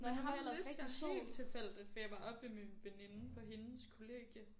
Nå men ham mødte jeg helt tilfældigt fordi jeg var oppe ved min veninde på hendes kollegie